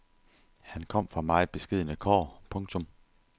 Han kom fra meget beskedne kår. punktum